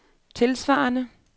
tilsvarende